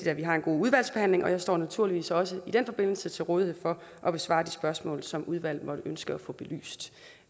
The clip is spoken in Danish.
at vi har en god udvalgsbehandling jeg står naturligvis også i den forbindelse til rådighed for at besvare de spørgsmål som udvalget måtte ønske at få belyst